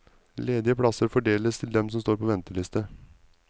Ledige plasser fordeles til dem som står på venteliste.